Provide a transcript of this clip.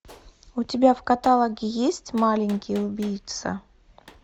у тебя в каталоге есть маленький убийца